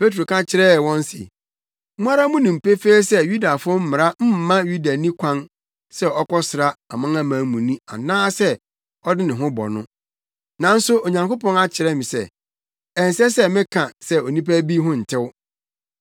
Petro ka kyerɛɛ wɔn se, “Mo ara munim pefee sɛ Yudafo mmara mma Yudani kwan sɛ ɔkɔsra amanamanmuni anaasɛ ɔde ne ho bɔ no. Nanso Onyankopɔn akyerɛ me sɛ, ɛnsɛ sɛ meka sɛ onipa bi ho ntew.